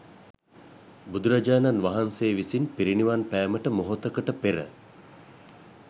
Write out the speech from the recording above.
බුදුරජාණන් වහන්සේ විසින් පිරිනිවන් පෑමට මොහොතකට පෙර